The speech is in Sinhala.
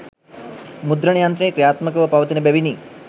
මුද්‍රණයන්ත්‍රය ක්‍රියාත්මකව පවතින බැවිනි.